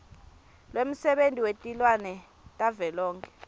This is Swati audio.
lwemsebenti wetilwimi tavelonkhe